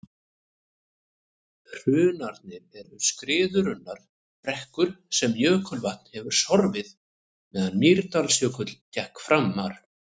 hrunarnir eru skriðurunnar brekkur sem jökulvatn hefur sorfið meðan mýrdalsjökull gekk framar